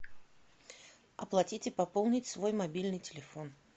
оплатить и пополнить свой мобильный телефон